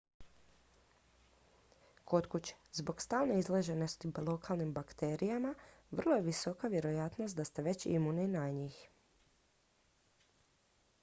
kod kuće zbog stalne izloženosti lokalnim bakterijama vrlo je visoka vjerojatnost da ste već imuni na njih